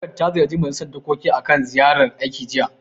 Tawagar ta ziyarci Majilisar dokokin akan ziyarar aiki, jiya.